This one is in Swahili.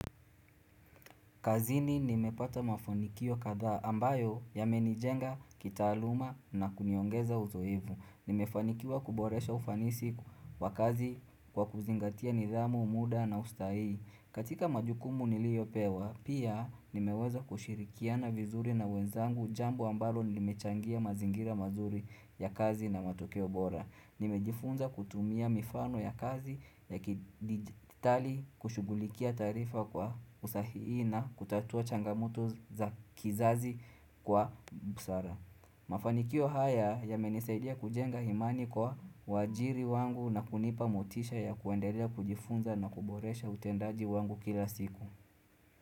Kazini nimepata mafanikio kadhaa ambayo yamenijenga kitaaluma na kuniongeza uzoevu. Nimefanikiwa kuboresha ufanisi wa kazi kwa kuzingatia nidhamu, muda na usta hii. Katika majukumu niliyopewa, pia nimeweza kushirikiana vizuri na wenzangu jambo ambalo limechangia mazingira mazuri ya kazi na matokeo bora. Nimejifunza kutumia mifano ya kazi ya kidigitali kushughulikia taarifa kwa usahihi na kutatua changamoto za kizazi kwa busara. Mafanikio haya yamenisaidia kujenga imani kwa wajiri wangu na kunipa motisha ya kuendelea kujifunza na kuboresha utendaji wangu kila siku.